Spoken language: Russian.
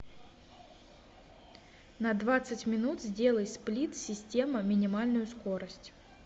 на двадцать минут сделай сплит система минимальную скорость